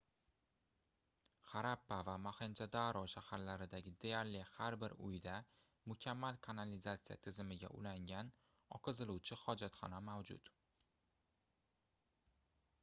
xarappa va moxenjo-daro shaharlaridagi deyarli har bir uyda mukammal kanalizatisya tizimiga ulangan oqiziluvchi hojatxona mavjud